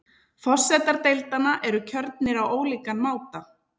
Forsetar deildanna eru kjörnir á ólíkan máta.